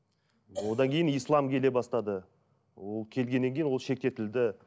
одан кейін ислам келе бастады ол келгеннен кейін ол шектетілді